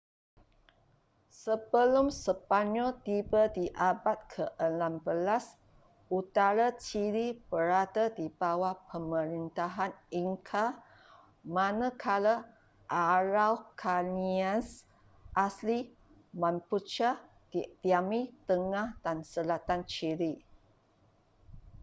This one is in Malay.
sebelum sepanyol tiba di abad ke-16 utara chile berada di bawah pemerintahan inca manakala araucanians asli mapuche didiami tengah dan selatan chile